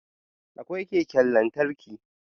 Akwai keken lantarki